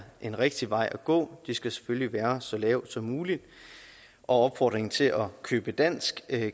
en rigtig vej at gå de skal selvfølgelig være så lave som muligt og opfordringen til at købe dansk